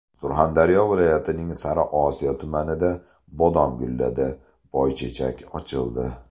Surxondaryo viloyatining Sariosiyo tumanida bodom gulladi, boychechak ochildi.